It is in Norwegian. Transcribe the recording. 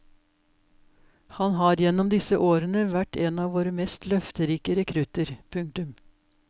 Han har gjennom disse årene vært en av våre mest løfterike rekrutter. punktum